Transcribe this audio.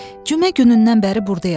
Cümə günündən bəri burdayam.